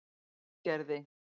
Hrísgerði